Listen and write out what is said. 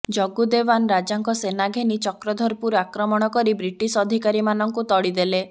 ଜଗ୍ଗୁ ଦେୱାନ ରାଜାଙ୍କ ସେନା ଘେନି ଚକ୍ରଧରପୁର ଆକ୍ରମଣ କରି ବ୍ରିଟିଶ ଅଧିକାରୀମାନଙ୍କୁ ତଡ଼ିଦେଲେ